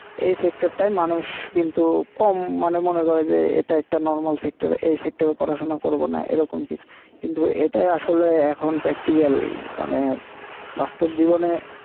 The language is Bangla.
এই টায় মানুষ কিন্তু কম মানে মনে করে যে এটা একটা পড়াশোনা করবনা এ রকম কিছু কিন্তু এটাই আসলে এখন মানে বাস্তব জীবনে